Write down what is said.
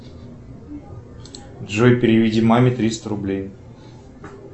джой переведи маме триста рублей